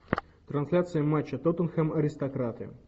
трансляция матча тоттенхэм аристократы